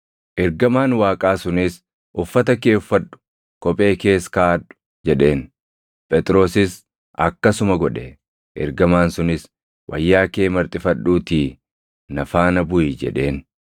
Ergamaan Waaqaa sunis, “Uffata kee uffadhu; kophee kees kaaʼadhu” jedheen. Phexrosis akkasuma godhe. Ergamaan sunis, “Wayyaa kee marxifadhuutii na faana buʼi” jedheen.